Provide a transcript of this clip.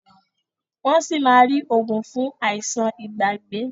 Wón sí má rí oògùn fún Àìsàn Ìgbàgbé